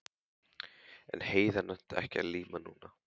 En Heiða nennti ekki að líma núna.